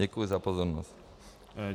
Děkuji za pozornost.